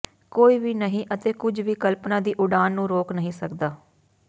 ਕੋਈ ਵੀ ਨਹੀਂ ਅਤੇ ਕੁਝ ਵੀ ਕਲਪਨਾ ਦੀ ਉਡਾਣ ਨੂੰ ਰੋਕ ਨਹੀਂ ਸਕਦਾ